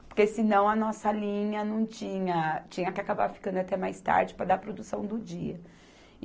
Porque senão a nossa linha não tinha, tinha que acabar ficando até mais tarde para dar a produção do dia.